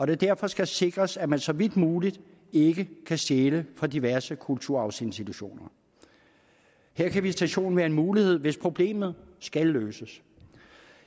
det derfor skal sikres at man så vidt muligt ikke kan stjæle fra diverse kulturarvsinstitutioner her kan visitation være en mulighed hvis problemet skal løses